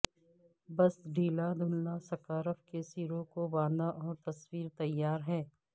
بس ڈھیلا دھندلا سکارف کے سروں کو باندھا اور تصویر تیار ہے